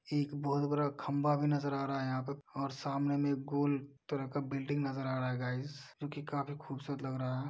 एक बहुत बरा खंभा भी नजर आ रहा है यहाँ पे और सामने में एक गोल तरह का बिल्डिंग नजर आ रहा है गाईस जोकि काफी खूबसूरत लग रहा है।